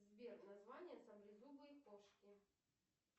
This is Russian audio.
сбер название саблезубой кошки